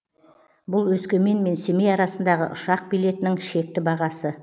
бұл өскемен мен семей арасындағы ұшақ билетінің шекті бағасы